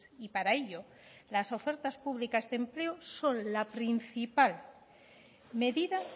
y para ello las ofertas públicas de empleo son la principal medida